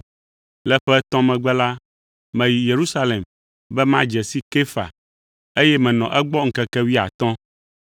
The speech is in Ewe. Le ƒe etɔ̃ megbe la, meyi Yerusalem be madze si Kefa, eye menɔ egbɔ ŋkeke wuiatɔ̃.